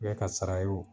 ka sara ye o